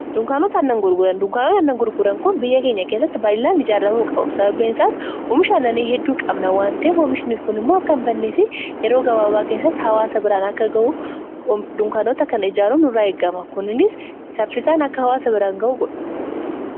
Dunkaanota aannan gurguran, duunkaanota aannan gurguran kun biyya keenya kessatti baay'inaan ijaarramuu qabu. sababbiin isaas oomisha aannanii hedduu qabna wanteef oomishnii kun immoo akka hin bannee fi yeroo gabaabaa keessatti hawaasa biraan akka gahu dunkaanota kana ijaarun irraa eeggama. Kunis saffisaan akka hawaasa biraan ga'u godhu.